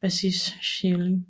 bassist Chiyu